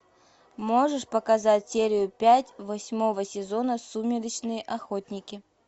можешь показать серию пять восьмого сезона сумеречные охотники